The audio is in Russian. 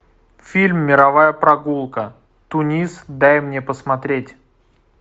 фильм мировая прогулка тунис дай мне посмотреть